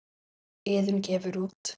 Iðunn gefur út.